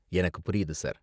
எனக்கு புரியுது சார்.